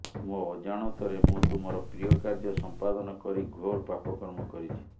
ମୋ ଅଜାଣତରେ ମୁଁ ତୁମର ପ୍ରିୟ କାର୍ଯ୍ୟ ସମ୍ପାଦନ କରି ଘୋର ପାପ କର୍ମ କରିଛି